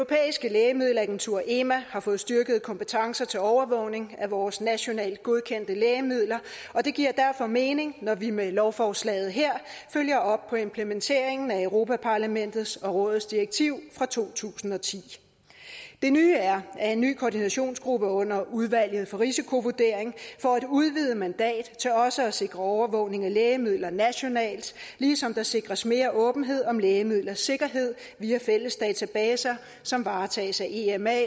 lægemiddelagentur ema har fået styrkede kompetencer til overvågning af vores nationalt godkendte lægemidler og det giver derfor mening når vi med lovforslaget her følger op på implementeringen af europa parlamentets og rådets direktiv fra to tusind og ti det nye er at en ny koordinationsgruppe under udvalget for risikovurdering får et udvidet mandat til også at sikre overvågning af lægemidler nationalt ligesom der sikres mere åbenhed om lægemidlers sikkerhed via fælles databaser som varetages af ema